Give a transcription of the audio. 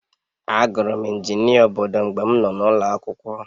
Agụrụ m injinia obodo mgbe m nọ n'ụlọ akwụkwọ